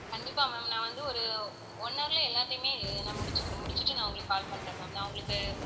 கண்டிப்பா ma'am நான் வந்து ஒரு one hour ல எல்லாத்தையுமே நான் முடிச்சுட்டு~ முடிச்சுட்டு நான் உங்களுக்கு call பண்றேன் ma'am நான் உங்களுக்கு